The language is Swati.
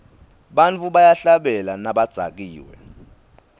bantfu bayahlabela nabadzakiwe